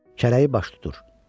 Kərəyi baş tutur.